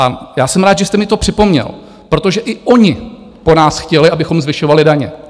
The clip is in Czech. A já jsem rád, že jste mi to připomněl, protože i oni po nás chtěli, abychom zvyšovali daně.